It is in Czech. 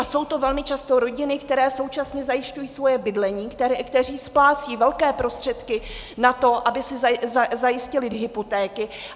A jsou to velmi často rodiny, které současně zajišťují svoje bydlení, které splácejí velké prostředky na to, aby si zajistily hypotéky.